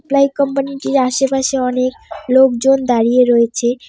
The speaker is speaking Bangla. প্লাই কোম্পানি -টির আশেপাশে অনেক লোকজন দাঁড়িয়ে রয়েছে।